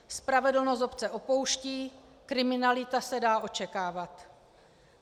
Spravedlnost obce opouští, kriminalita se dá očekávat.